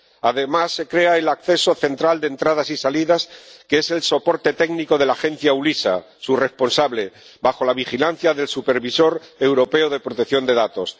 Además, se crea el acceso central de entradas y salidas, que es el soporte técnico de la Agencia eu LISA —su responsable—, bajo la vigilancia del Supervisor Europeo de Protección de Datos.